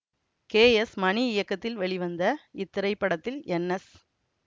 K S Mani இயக்கத்தில் வெளிவந்த இத்திரைப்படத்தில் என் எஸ்